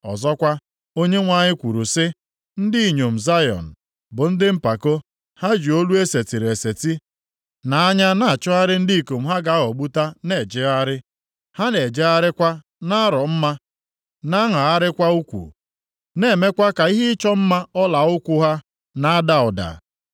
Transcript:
Ọzọkwa, Onyenwe anyị kwuru sị, “Ndị inyom Zayọn bụ ndị mpako. Ha ji olu e setịrị eseti, na anya na-achọgharị ndị ikom ha ga-aghọgbuta na-ejegharị. Ha na-ejegharịkwa na-arọ mma na-aṅagharịkwa ukwu, na-emekwa ka ihe ịchọ mma ọla ụkwụ ha na-ada ụda.